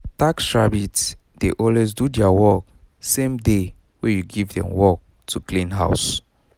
taskrabbit dey always do their work same day wey you give dem work to clean house